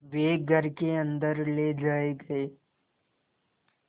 वे घर के अन्दर ले जाए गए